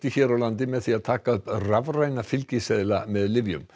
hér á landi með því að taka upp rafræna fylgiseðla með lyfjum